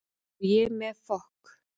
Og ég með fokk